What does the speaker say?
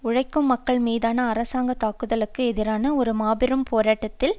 உழைக்கும் மக்கள் மீதான அரசாங்க தாக்குதல்களுக்கு எதிரான ஒரு மாபெரும் போராட்டத்தில்